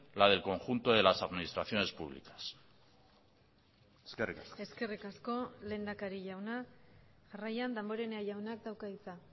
la del conjunto de las administraciones públicas eskerrik asko eskerrik asko lehendakari jauna jarraian damborenea jaunak dauka hitza